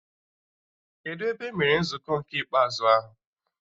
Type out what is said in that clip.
Kedụ ebe emere nzukọ nke ikpeazụ ahụ?